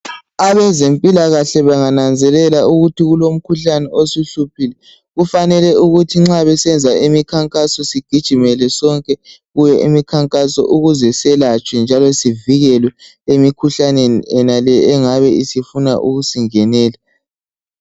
Abezempilakahle bangananzelela ukuthi kulomkhuhlane osuhluphile kufanele ukuthi nxa besenza imikhankaso sigijimele sonke kuyo imikhankaso ukuze selatshwe sonke njalo sivikileke emkhuhlaneni le engabe sifuna ukusingenela.